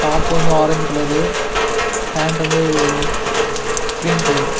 Top வந்து orange colour pant வந்து cream colour .